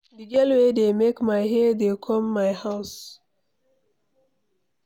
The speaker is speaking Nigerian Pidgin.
The girl wey dey make my hair dey come my house